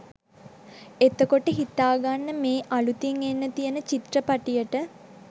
එතකොට හිතාගන්න මේ අලුතින් එන්න තියෙන චිත්‍රපටියට